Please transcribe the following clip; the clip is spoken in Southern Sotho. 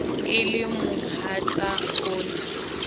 e le mohatsa o na